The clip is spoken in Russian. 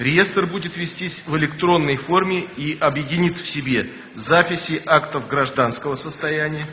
реестр будет вестись в электронной форме и объединит в себе записи актов гражданского состояния